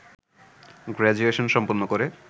graduation সম্পন্ন করে